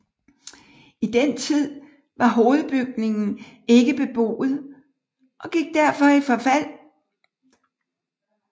I den tid var hovedbygningen ikke beboet og gik derfor i forfald